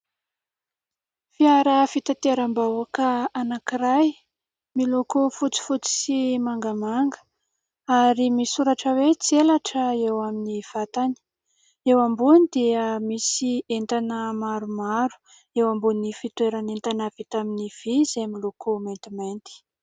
Fiara fitateram-bahoaka anankiray miloko fotsifotsy sy mangamanga ary misy soratra hoe : "Tselatra" eo amin'ny vatany. Eo ambony dia misy entana maromaro, eo ambonin'ny fitoeran'entana vita amin'ny vy izay miloko maintimainty.